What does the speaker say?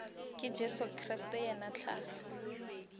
ka jesu kriste yena hlatse